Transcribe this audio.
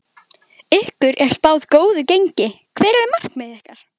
Ykkur er spáð góðu gengi, hver eru markmið ykkar?